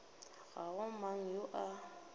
ga go mang yo a